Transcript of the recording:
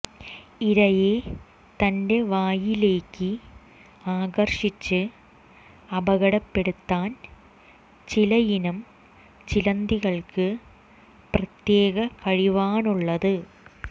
ഇരയെ തന്റെ വായിലേക്ക് ആകർഷിച്ച് അപകടപ്പെടുത്താൻ ചിലയിനം ചിലന്തികൾക്ക് പ്രത്യേക കഴിവാണുള്ളത്